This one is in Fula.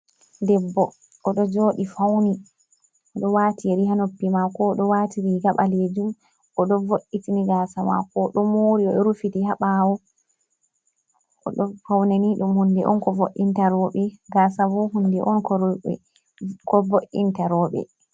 Debbo oɗo joɗi fauni oɗo wati yeri ha noppi mako, oɗo waati riga ɓalejum, oɗo vo'itini gasa mako, oɗo mori O rufiti ha ɓawo, oɗo fauni. Faune ni ɗum hunde on ko vo’inta roɓe gasa bo hunde on ko vo’inta roɓe.